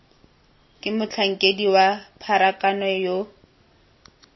ke motlhankedi wa pharakano yo